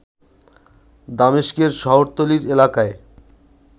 দামেস্কের শহরতলীর এলাকায়